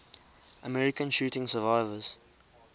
american shooting survivors